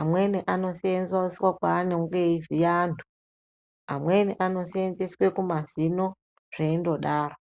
Amweni anoseenzeswa kwaanonge eivhiya antu, amweni anoseenzeswe kumazino zveindodaro.